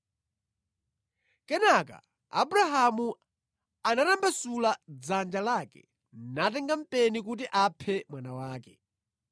Kenaka Abrahamu anatambasula dzanja lake natenga mpeni kuti aphe mwana wake.